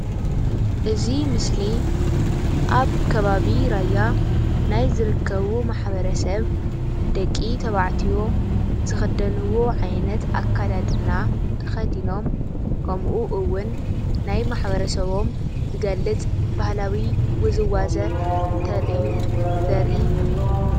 እዚ ምስሊ ኣብ ከባቢ ራያ ናይ ዝርከቡ ማሕበረሰብ ደቂ ተባዕትዮ ዝኽደንዎ ዓይነት ኣካዳድና ተኸዲኖም ከምኡ እውን ናይ ማሕበረሰቦም ዝገልጽ ባህላዊ ውዝዋዜ እንተርእዩ ዘርኢ እዩ።